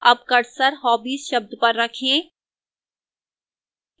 अब cursor hobbies शब्द पर रखें